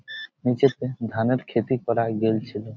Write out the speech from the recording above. নীচেতে ধানের ক্ষতি করা গলছিলো ।